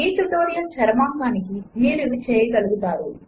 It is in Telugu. ఈ ట్యుటోరియల్ చరమాంకానికి మీరు ఇవి చేయగలుగుతారు 1